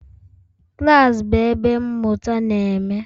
Klas bụ ebe mmụta na-eme.